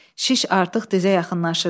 Şiş artıq dizə yaxınlaşırdı.